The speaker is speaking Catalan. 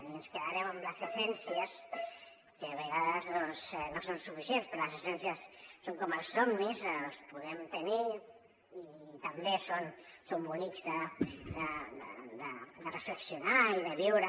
i ens quedarem amb les essències que a vegades no són suficients però les essències són com els somnis els podem tenir i també són bonics de reflexionar i de viure